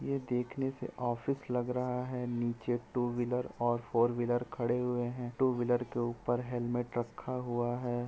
ये देखने से ऑफिस लग रहा है नीचे टू-व्हीलर और फोर-व्हीलर खड़े हुए है टू-व्हीलर के ऊपर हेलमेट रखा हुआ है।